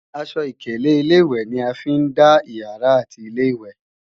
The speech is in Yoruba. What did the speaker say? Aṣọ ìkélé Ilé-ìwẹ̀ ni a fi ń dá ìyàrá àti Ilé-ìwẹ̀